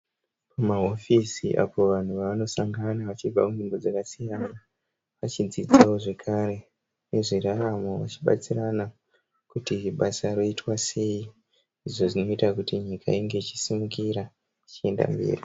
Mahofisi apo vanhu vanosangana vachibva kunzvimbo dzakasiyana, vachidzidzawo zvekare nezveraramo, vachibatsirana kuti basa roitwa sei, izvo zvinoita kuti nyika inge ichisimukira ichienda mberi.